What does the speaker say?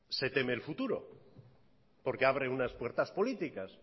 se teme el futuro porque abre unas puertas políticas